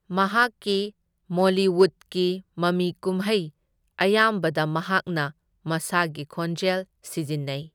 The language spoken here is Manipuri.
ꯃꯍꯥꯛꯀꯤ ꯃꯣꯂꯤꯋꯨꯗꯀꯤ ꯃꯃꯤꯀꯨꯝꯍꯩ ꯑꯌꯥꯝꯕꯗ ꯃꯍꯥꯛꯅ ꯃꯁꯥꯒꯤ ꯈꯣꯟꯖꯦꯜ ꯁꯤꯖꯤꯟꯅꯩ꯫